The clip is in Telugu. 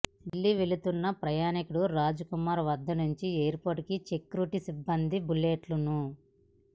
ఢిల్లీ వెళ్తున్న ప్రయాణికుడు రాజ్కుమార్ వద్దనుంచి ఎయిర్పోర్టు సెక్యూరిటీ సిబ్బంది బుల్లెట్ను